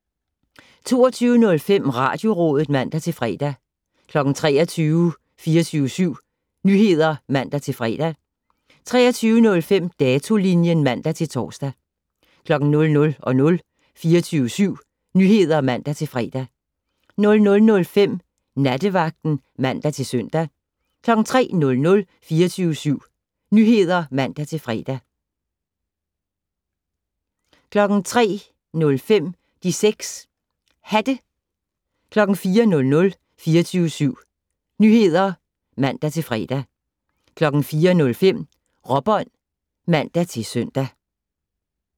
22:05: Radiorådet (man-fre) 23:00: 24syv Nyheder (man-fre) 23:05: Datolinjen (man-tor) 00:00: 24syv Nyheder (man-fre) 00:05: Nattevagten (man-søn) 03:00: 24syv Nyheder (man-fre) 03:05: De 6 Hatte 04:00: 24syv Nyheder (man-fre) 04:05: Råbånd (man-søn)